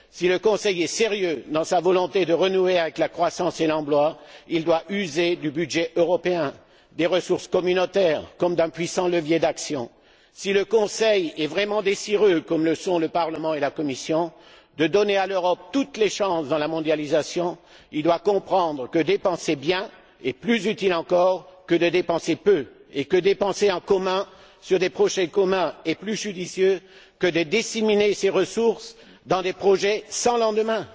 Si le Conseil est sérieux dans sa volonté de renouer avec la croissance et l'emploi, il doit user du budget européen, des ressources communautaires comme d'un puissant levier d'action. Si le Conseil est vraiment désireux, comme le sont le Parlement et la Commission, de donner à l'Europe toutes les chances dans la mondialisation, il doit comprendre que dépenser bien est plus utile encore que dépenser peu, et que dépenser en commun sur des projets communs est plus judicieux que de disséminer ses ressources dans des projets sans lendemain.